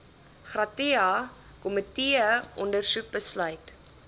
gratia komiteeondersoek besluit